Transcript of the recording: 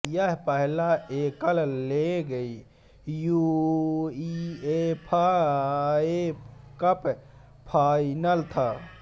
यह पहला एकल लेग यूईएफए कप फाइनल था